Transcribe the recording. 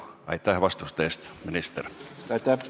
Aitäh vastuste eest, minister!